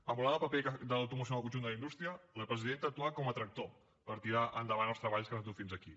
emulant el paper de l’automoció en el conjunt de la indústria la presidenta ha actuat com a tractor per tirar endavant els treballs que ens han dut fins aquí